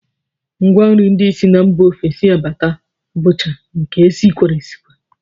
Ngwanri ndị si mba ofesi abata bụcha nke e sikwara esikwa